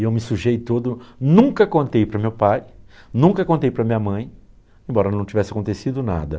E eu me sujei todo, nunca contei para meu pai, nunca contei para minha mãe, embora não tivesse acontecido nada.